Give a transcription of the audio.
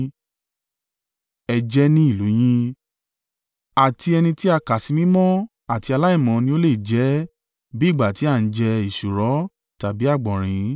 Ẹ jẹ ẹ́ ní ìlú u yín. Àti ẹni tí a kà sí mímọ́ àti aláìmọ́ ni ó lè jẹ ẹ́ bí ìgbà tí a ń jẹ èsúró tàbí àgbọ̀nrín.